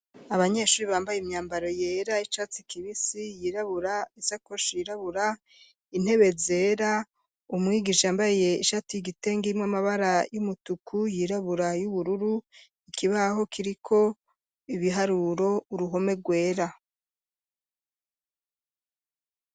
Abanyeshuri, bambaye imyambaro yera, y'icatsi kibisi, yirabura; isakoshi yirabura, intebe zera, umwigisha, yambaye ishati y'igitenge, irimwo amabara y'umutuku, yirabura, y'ubururu, ikibaho kiriko ibiharuro, uruhome rwera.